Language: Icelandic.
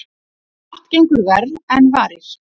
Margt gengur verr en varir.